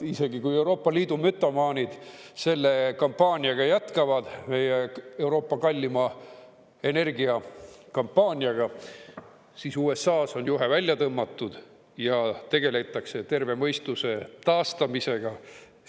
Isegi kui Euroopa Liidu mütomaanid selle kampaaniaga jätkavad, meie Euroopa kallima energiakampaaniaga, siis USA-s on juhe välja tõmmatud ja tegeletakse terve mõistuse taastamisega.